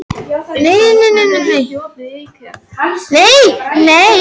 Magda, hækkaðu í græjunum.